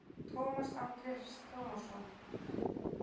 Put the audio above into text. Tómas Andrés Tómasson